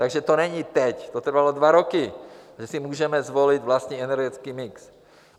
Takže to není teď, to trvalo dva roky, že si můžeme zvolit vlastní energetický mix.